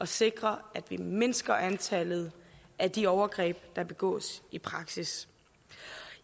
sikre at vi mindsker antallet af de overgreb der begås i praksis